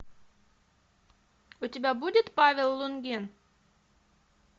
у тебя будет павел лунгин